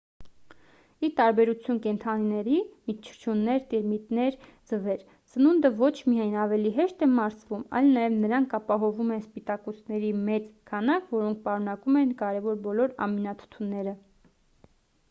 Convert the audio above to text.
ի տարբերություն կենդանիների մրջյուններ տերմիտներ ձվեր սնունդը ոչ միայն ավելի հեշտ է մարսվում այլ նաև նրանք ապահովում են սպիտակուցների մեծ քանակ որոնք պարունակում են կարևոր բոլոր ամինաթթուները: